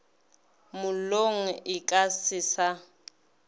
mollong e ka se sa